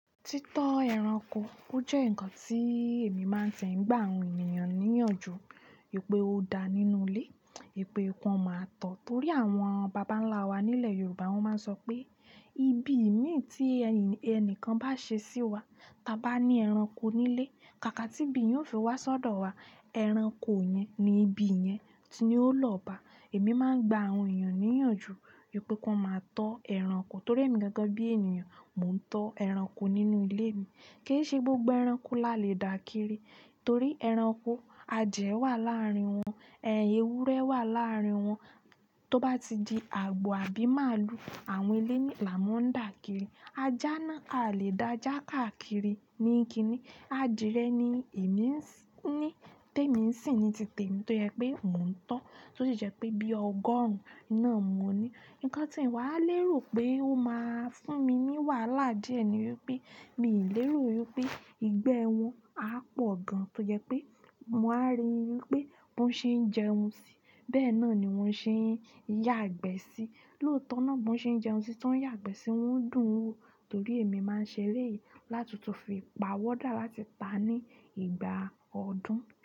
Títọ́ ẹranko, ó jẹ́ nǹkan tí èmi máa ń ṣe ń gbá àwọn ènìyàn níyànjú. Wipé ó dá nínú ilé, wipé kan máa tọ̀. Torí àwọn baba ńlá wa nílẹ̀ Yorùbá, wọ́n máa ń sọ pé: "Ibi ìmí tí ẹnìkan bá ṣe sí wa, ta bá ní ẹranko nílé, kàkà tí ibi yóò fi wá sọ́dọ̀ wa. Ẹranko yẹn ni ibi yẹn ti ó lọ́ ba." Emi maa n gba àwọn eyan niyanju wípé ki wọn maa tọ ẹranko torí èmi gẹ́gẹ́ bí ènìyàn, mò ń tọ́ ẹranko nínú ilé mi. Kì í ṣe gbogbo ẹranko la le dà kiri. Torí ẹranko, adìẹ wà láàárín wọn, ẹin ewúrẹ́ wà láàárín wọn. Tó bá ti di àgbo, àbí màálù, àwọn elei àá máa ń dà kiri. Ajá náà aa le dà ajá kákiri ní kíni. Adìẹ ni èmi ní, témi n sin ni ti tèmi tó jẹ pé mò ń tọ́. To si jẹ pe bi ọgọrun náà mo ni ǹkan tí n wàá lérò pé ó máa fún mi ní wàhálà díẹ̀ ni wípé mi ì lérò wípé ìgbẹ́ wọn á pọ̀ gan-an tó jẹ pé mo wá rí wípé bi wọ́n ṣe ń jẹun sí. Bẹ́ẹ̀ náà ni wọ́n ṣe ń yàgbẹ́ sí. Lóòótọ́ náà bó ṣe ń jẹun sí, tó ń yàgbẹ́ sì, wọ́n dùn wo torí emi maa n ṣe eleyi láti tun fi pawọda láti pa ni ìgbà ọdún.